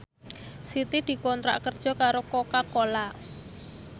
Siti dikontrak kerja karo Coca Cola